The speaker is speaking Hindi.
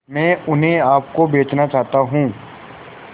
मैं उन्हें आप को बेचना चाहता हूं